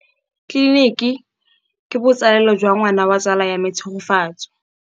Tleliniki e, ke botsalêlô jwa ngwana wa tsala ya me Tshegofatso.